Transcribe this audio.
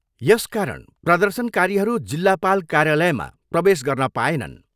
यसकारण प्रर्दशनकारीहरू जिल्लापाल कार्यालयमा प्रवेश गर्न पाएनन्।